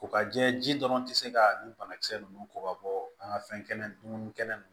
Ko ka jɛ ji dɔrɔn tɛ se ka nin banakisɛ ninnu kɔ ka bɔ an ka fɛn kɛnɛ ninnu